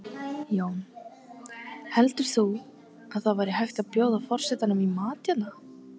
Jón: Heldur þú að það væri hægt að bjóða forsetanum í mat hérna?